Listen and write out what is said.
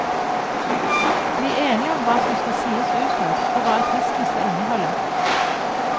Bli enige om hva som skal sies utad og hva attesten skal inneholde.